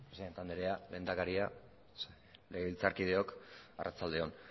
presidente anderea lehendakaria legebiltzarkideok arratsalde on